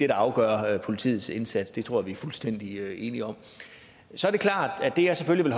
afgør politiets indsats det tror jeg vi er fuldstændig enige om så er det klart at det jeg selvfølgelig